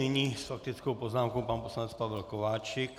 Nyní s faktickou poznámkou pan poslanec Pavel Kováčik.